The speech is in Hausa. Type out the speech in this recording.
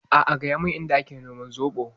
A'a gaya mun Inda a ke noman zoɓo.